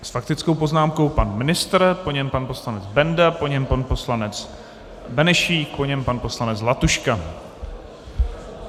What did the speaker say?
S faktickou poznámkou pan ministr, po něm pan poslanec Benda, po něm pan poslanec Benešík, po něm pan poslanec Zlatuška.